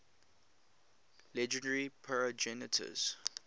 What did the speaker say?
legendary progenitors